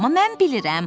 Amma mən bilirəm.